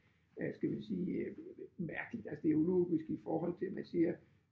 Øh skal vi sige mærkeligt altså det ulogisk i forhold til man siger